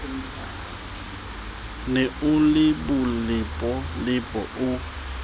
ne o le bolepolepo o